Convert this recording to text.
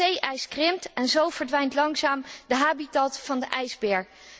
Het zee ijs krimpt en zo verdwijnt langzaam de habitat van de ijsbeer.